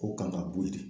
K'o kan ka bɔ yen